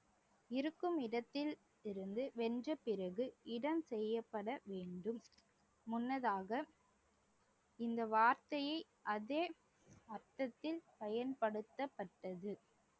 இருக்கும் இடத்தில் இருந்து வென்ற பிறகு இடம் செய்யப்பட வேண்டும் முன்னதாக இந்த வார்த்தையை அதே அர்த்தத்தில் பயன்படுத்தப்பட்டது